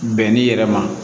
Bɛn'i yɛrɛ ma